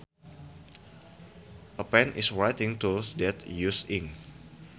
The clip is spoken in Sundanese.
A pen is a writing tool that uses ink